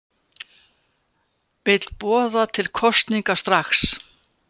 Vill boða til kosninga strax